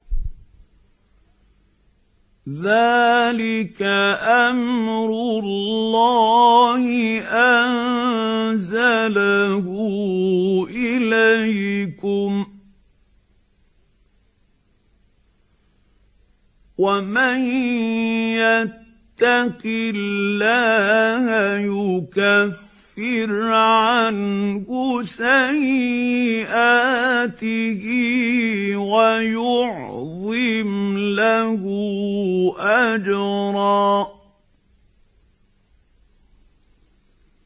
ذَٰلِكَ أَمْرُ اللَّهِ أَنزَلَهُ إِلَيْكُمْ ۚ وَمَن يَتَّقِ اللَّهَ يُكَفِّرْ عَنْهُ سَيِّئَاتِهِ وَيُعْظِمْ لَهُ أَجْرًا